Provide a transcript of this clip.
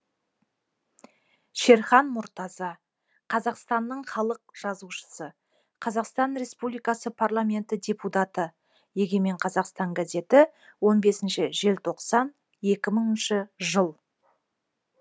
шерхан мұртаза қазақстанның халық жазушысы қазақстан республикасы парламенті депутаты егемен қазақстан газеті он бесінші желтоқсан екі мыңыншы жыл